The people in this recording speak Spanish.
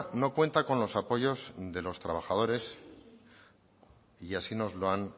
no cuenta con los apoyos de los trabajadores y así nos lo han